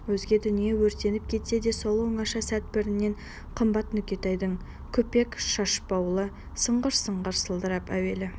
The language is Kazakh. өзге дүние өртеніп кетсе де сол оңаша сәт бәрінен қымбат нүкетайдың күпек шашбауы сыңғыр-сыңғыр сылдырап әуелі